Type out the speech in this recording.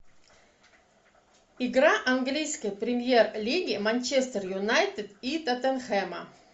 игра английской премьер лиги манчестер юнайтед и тоттенхэма